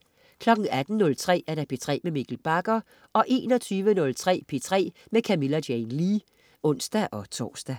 18.03 P3 med Mikkel Bagger 21.03 P3 med Camilla Jane Lea (ons-tors)